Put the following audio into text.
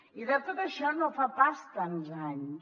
i de tot això no fa pas tants anys